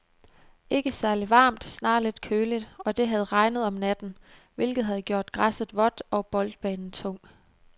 Ikke særligt varmt, snarere lidt køligt, og det havde regnet om natten, hvilket havde gjort græsset vådt og boldbanen tung.